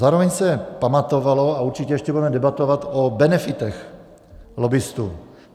Zároveň se pamatovalo, a určitě ještě budeme debatovat, o benefitech lobbistů.